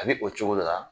A bɛ o cogo de la